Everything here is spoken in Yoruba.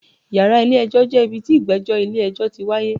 Yàrá ilé ẹjọ́ jẹ́ ibi tí ìgbẹ́jọ́ ilé ẹjọ́ ti wáyé.